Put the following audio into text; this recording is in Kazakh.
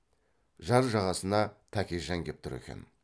жар жағасына тәкежан кеп тұр екен